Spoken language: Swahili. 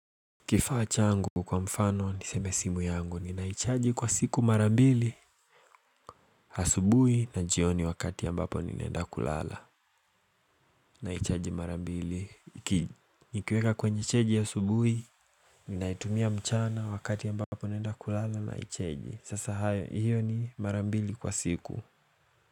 Kifaa changu kwa mfano niseme simu yangu, ninaichaji kwa siku mara mbili Asubui na jioni wakati ambapo nina enda kulala Naichaji mara mbili, ki nikiweka kwenye cheji asubui Ninaitumia mchana wakati ambapo naenda kulala naicheji, sasa hayo hiyo ni mara mbili kwa siku.